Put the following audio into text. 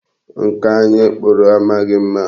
Nka anyi kpụrụ amaghị mma.